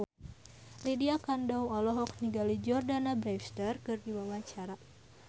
Lydia Kandou olohok ningali Jordana Brewster keur diwawancara